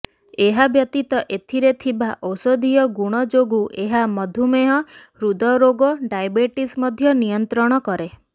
ଏହା ବ୍ୟତୀତ ଏଥିରେ ଥିବା ଔଷଧୀୟ ଗୁଣ ଯୋଗୁ ଏହା ମଧୁମେହ ହୃଦରୋଗ ଡାଇବେଟିସ ମଧ୍ୟ ନିୟନ୍ତ୍ରଣ କରେ